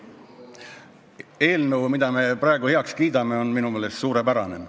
Eelnõu, mida me praegu heaks kiidame, on minu meelest suurepärane.